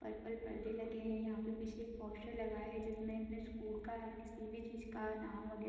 purple पर्दे लगे है यहाँ पे पीछे एक पोस्टर लगा है जिसमें किसी स्कूल का है किसी भी चीज़ का नाम वैगरह --